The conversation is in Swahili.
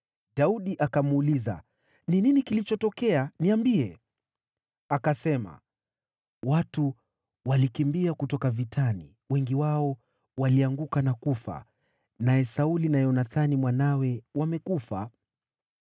Daudi akamuuliza, “Ni nini kilichotokea? Niambie.” Akasema, “Watu walikimbia kutoka vitani. Wengi wao walianguka na kufa. Naye Sauli na Yonathani mwanawe wamekufa.”